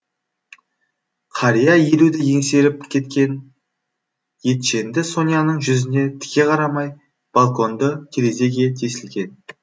қария елуді еңсеріп кеткен етженді соняның жүзіне тіке қарамай балконды терезеге тесілген